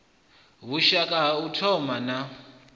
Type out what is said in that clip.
vhushaka ha u thoma na